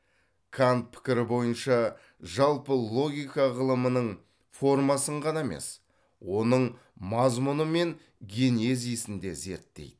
кант пікірі бойынша жалпы логика ғылымның формасын ғана емес оның мазмұны мен генезисін де зерттейді